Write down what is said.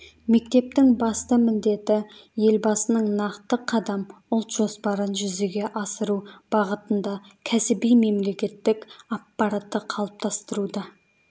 мектептің басты міндеті елбасының нақты қадам ұлт жоспарын жүзеге асыру бағытында кәсіби мемлекеттік аппаратты қалыптастыруда